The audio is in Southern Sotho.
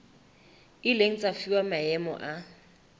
ileng tsa fuwa maemo a